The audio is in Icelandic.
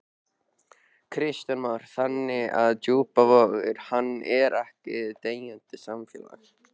Kristján Már: Þannig að Djúpivogur, hann er ekkert deyjandi samfélag?